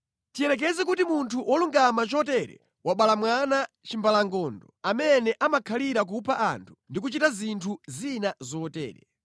“Tiyerekeze kuti munthu wolungama chotere wabala mwana chimbalangondo amene amakhalira kupha anthu ndi kuchita zinthu zina zotere.